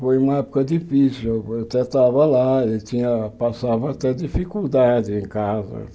Foi uma época difícil, eu até estava lá, ele tinha passava até dificuldade em casa.